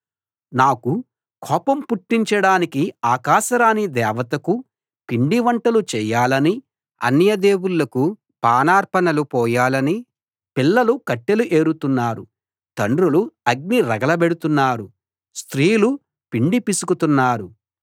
నాకు కోపం పుట్టించడానికి ఆకాశరాణి దేవతకు పిండివంటలు చేయాలనీ అన్య దేవుళ్ళకు పానార్పణలు పోయాలనీ పిల్లలు కట్టెలు ఏరుతున్నారు తండ్రులు అగ్ని రగులబెడుతున్నారు స్త్రీలు పిండి పిసుకుతున్నారు